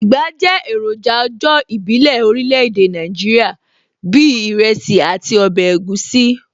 Ìgbá jẹ́ èròjà ọjọ́ ìbílẹ̀ orílẹ̀ èdè Nàìjíríà bíi ìrẹsì àti ọbẹ̀ egusi